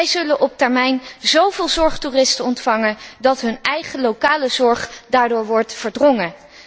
Zij zullen op termijn zó veel zorgtoeristen ontvangen dat hun eigen lokale zorg daardoor wordt verdrongen.